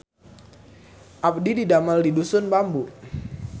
Abdi didamel di Dusun Bambu